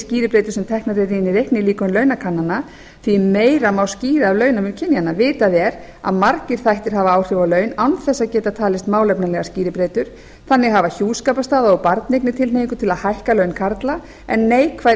skýribreytur sem teknar eru inn í reiknilíkön launakannana því meira má skýra af launamun kynjanna vitað er að margir þættir hafa áhrif á laun án þess að geta talist málefnalegar skýribreytur þannig hafa hjúskaparstaða og barneignir tilhneigingu til að hækka laun karla en neikvæð eða